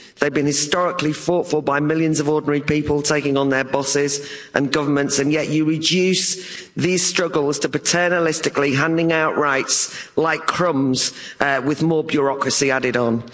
They've been historically fought for by millions of ordinary people taking on their bosses and governments, and yet you reduce these struggles to paternalistically handing out rights like crumbs with more bureaucracy added on.